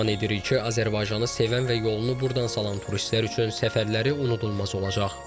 Güman edirik ki, Azərbaycanı sevən və yolunu burdan salan turistlər üçün səfərləri unudulmaz olacaq.